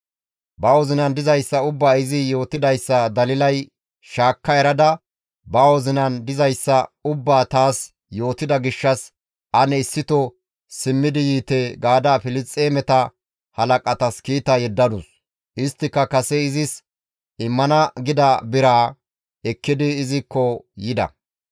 Ba wozinan dizayssa ubbaa izi yootidayssa Dalilay shaakka erada, «Ba wozinan dizayssa ubbaa taas yootida gishshas ane issito simmidi yiite» gaada Filisxeemeta halaqatas kiita yeddadus; isttika kase izis immana gida biraa ekkidi izikko yida.